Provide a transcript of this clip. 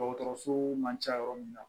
Dɔgɔtɔrɔso man ca yɔrɔ min na